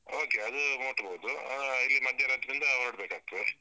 Okay ಅದು ಮುಟ್ಬಹುದು, ಆಹ್ ಇಲ್ಲಿ ಮಧ್ಯರಾತ್ರಿಇಂದ ಹೊರಡ್ಬೇಕಾಗ್ತದೆ.